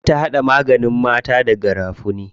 Za ta haɗa maganin mata da garafuni.